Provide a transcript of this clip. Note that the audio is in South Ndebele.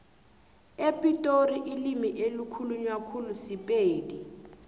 epitori ilimi elikhulunywa khulu sipedi